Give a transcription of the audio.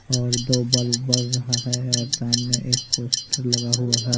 और दो बल्ब बर रहा है और सामने एक पोस्टर लगा हुआ--